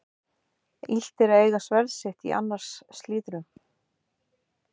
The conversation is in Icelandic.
Illt er að eiga sverð sitt í annars slíðrum.